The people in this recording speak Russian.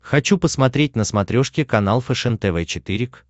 хочу посмотреть на смотрешке канал фэшен тв четыре к